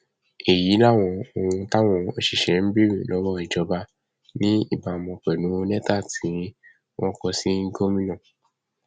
èyí làwọn ohun táwọn òṣìṣẹ ń béèrè lọwọ ìjọba ní ìbámu pẹlú lẹtà tí wọn kò sì gomina